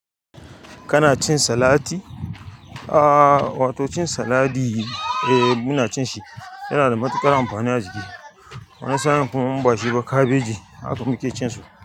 Kana cin salati? Aaa, wato cin saladi eh muna cin shi, yana da matuƙar amfani a jiki, wani sa'in kuma in bashi ba kabeji haka muqe cin su,